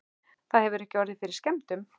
Það hefur ekki orðið fyrir skemmdum?